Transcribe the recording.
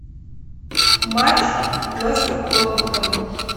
матч лестер тоттенхэм